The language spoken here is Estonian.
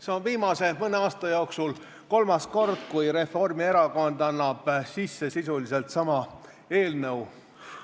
See on viimase mõne aasta jooksul kolmas kord, kui Reformierakond annab sisse sisuliselt sama eelnõu.